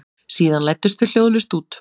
Síðan læddust þau hljóðlaust út.